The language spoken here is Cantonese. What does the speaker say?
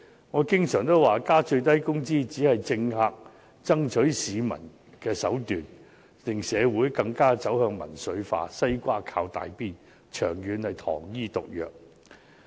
我經常也說增加最低工資只是政客爭取市民支持的手段，令社會更加走向民粹化，"西瓜靠大邊"，長遠是糖衣毒藥。